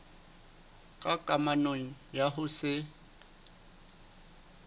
ka kamano ya ho se